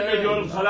İtiraf edirəm sənə!